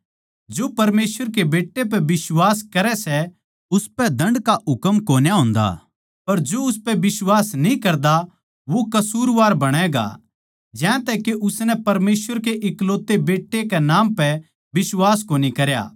जो परमेसवर के बेट्टे पै बिश्वास करै सै उसपै दण्ड का हुकम कोन्या होन्दा पर जो उसपै बिश्वास न्ही करदा वो कसूरवार बणैगा ज्यांतै के उसनै परमेसवर के इकलौते बेट्टै कै नाम पै बिश्वास कोनी करया